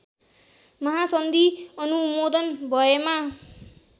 महासन्धि अनुमोदन भएमा